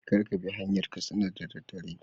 Kar Kabi hanyar katsina da daddare